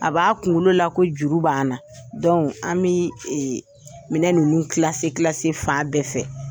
A b'a kunkolo la ko juru b' na an bɛ minɛ ninnu fan bɛɛ fɛ.